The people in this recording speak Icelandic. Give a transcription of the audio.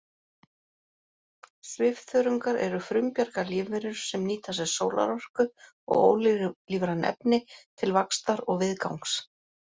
Svifþörungar eru frumbjarga lífverur sem nýta sér sólarorku og ólífræn efni til vaxtar og viðgangs.